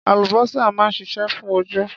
Àlùbósà máa ń ṣiṣẹ́ fún ojú.